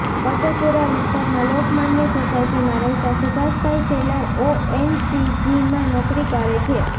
ફતેપુરા વિસ્તારમાં લોકમાન્ય સોસાયટીમાં રહેતા સુભાષભાઈ શેલાર ઓએનજીસીમાં નોકરી કરે છે